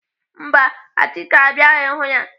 Mba, Achike abịaghị hụ ya.